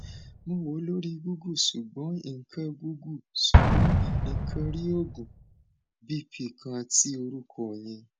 mo wo lori google ṣugbọn nko google ṣugbọn nko rii oogun bp kan ti orukọ yẹn